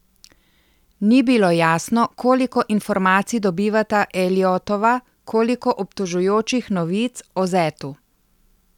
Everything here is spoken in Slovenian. Ni bilo jasno, koliko informacij dobivata Elliottova, koliko obtožujočih novic o zetu.